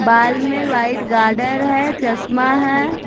बाल में white garter है चश्मा है--